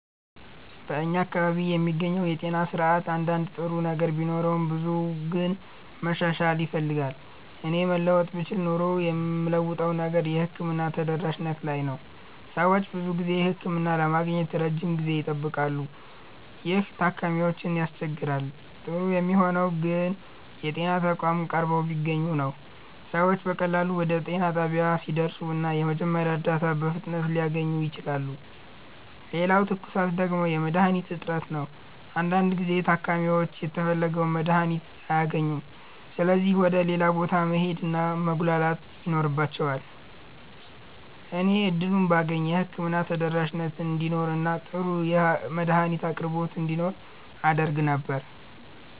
በእኛ አካባቢ የሚገኘው የጤና ስርዓት አንዳንድ ጥሩ ነገር ቢኖረውም ብዙው ግን መሻሻል ይፈልጋል። እኔ መለወጥ ብችል ኖሮ የምለውጠው ነገር የሕክምና ተደራሽነት ላይ ነው። ሰዎች ብዙ ጊዜ ህክምና ለማግኘት ረጅም ጊዜ ይጠብቃሉ፣ ይህም ታካሚዎችን ያስቸግራል። ጥሩ የሚሆነው ግን የጤና ተቋማት ቀርበው ቢገኙ ነው። ሰዎች በቀላሉ ወደ ጤና ጣቢያ ሊደርሱ እና የመጀመሪያ እርዳታ በፍጥነት ሊያገኙ ይችላሉ። ሌላው ትኩሳት ደግሞ የመድሀኒት እጥረት ነው። አንዳንድ ጊዜ ታካሚዎች የተፈለገውን መድሀኒት አያገኙም ስለዚህ ወደ ሌላ ቦታ መሄድ እና መጉላላት ይኖርባቸዋል። እኔ እድሉን ባገኝ የህክምና ተደራሽነት እንዲኖር እና ጥሩ የመድሀኒት አቅርቦት እንዲኖር አደርግ ነበር።